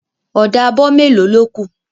Ọ̀dà abọ melo ló kù